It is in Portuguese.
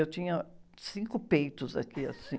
Eu tinha cinco peitos aqui, assim.